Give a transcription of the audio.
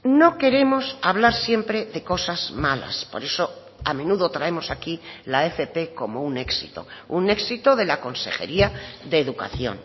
no queremos hablar siempre de cosas malas por eso a menudo traemos aquí la fp como un éxito un éxito de la consejería de educación